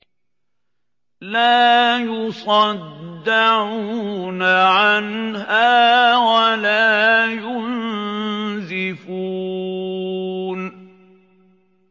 لَّا يُصَدَّعُونَ عَنْهَا وَلَا يُنزِفُونَ